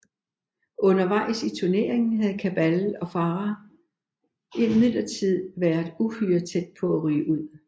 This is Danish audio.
Undervejs i turneringen havde Cabal og Farah imidlertid været uhyre tæt på at ryge ud